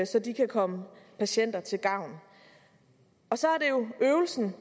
så de kan komme patienterne til gavn så er øvelsen